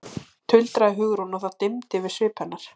tuldraði Hugrún og það dimmdi yfir svip hennar.